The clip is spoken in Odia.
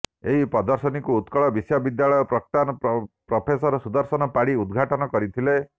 ଏହି ପ୍ରଦର୍ଶନୀକୁ ଉତ୍କଳ ବିଶ୍ୱବିଦ୍ୟାଳୟର ପ୍ରାକ୍ତନ ପ୍ରଫେସର ସୁଦର୍ଶନ ପାଢ଼ୀ ଉଦ୍ଘାଟନ କରିଥିଲେ